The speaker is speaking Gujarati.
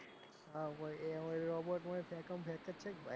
હવ ભાઈ એ robot માં ફેકમ ફેક છે ભાઈ,